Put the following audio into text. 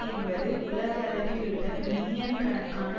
என்பது உலகளவிலுள்ள மில்லியன் கணக்கான